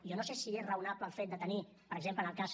jo no sé si és raonable el fet de tenir per exemple en el cas